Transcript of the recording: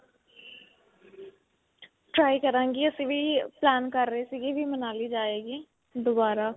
try ਕਰਾਂਗੇ ਅਸੀਂ ਵੀ plan ਕਰ ਰਹੇ ਸੀਗੇ ਵੀ ਮਨਾਲੀ ਜਾਂ ਆਈਏ ਦੁਬਾਰਾ.